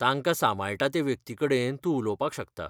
तांकां सांबाळटा ते व्यक्तीकडेन तूं उलोवपाक शकता.